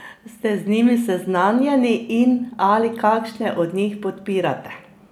Ste z njimi seznanjeni in ali kakšne od njih podpirate?